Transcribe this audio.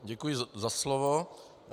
Děkuji za slovo.